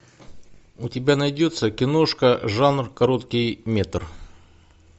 у тебя найдется киношка жанр короткий метр